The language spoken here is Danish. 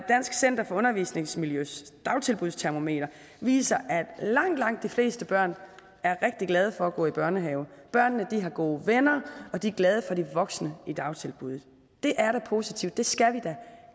dansk center for undervisningsmiljøs dagtilbudstermometer viser at langt langt de fleste børn er rigtig glade for at gå i børnehave børnene har gode venner og de er glade for de voksne i dagtilbuddet det er da positivt det skal vi da